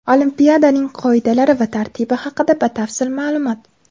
Olimpiadaning qoidalari va tartibi haqida batafsil ma’lumot.